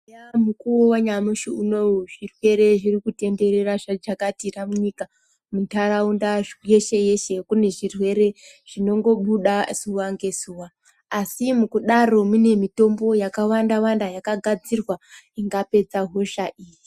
Eya mukuwo yanyamashi unouyu zvirwere zviri kutenderera zvajakatira nyika muntaraunda yeshe yeshe kune zvirwere zvinobuda zuwa ngezuwa asi mukudaro mune mitombo yakawanda wanda ingapedza hosha iyi.